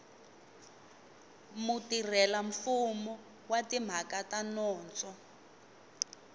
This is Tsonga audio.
mutirhelamfumo wa timhaka ta nondzo